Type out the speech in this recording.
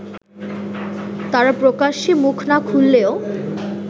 তারা প্রকাশ্যে মুখ না খুললেও